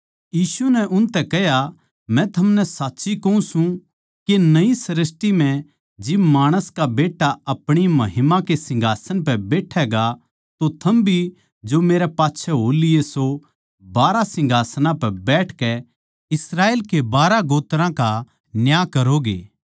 यीशु नै उनतै कह्या मै थमनै साच्ची कहूँ सूं के नयी सृष्टी म्ह जिब माणस का बेट्टा अपणी महिमा के सिंहासन पै बैठैगा तो थम भी जो मेरै पाच्छै हो लिए सो बारहां सिंहासनां पै बैठकै इस्राएल के बारहां गोत्रां का न्याय करोगे